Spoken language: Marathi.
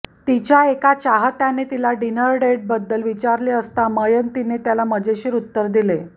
तिच्या एका चाहत्याने तिला डिनर डेटबद्दल विचारले असता मयंतीने त्याला मजेशीर उत्तर दिले